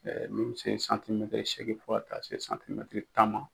min mɛ se santimɛtiri seegin fɔ ka taa se santimɛtiri tan ma.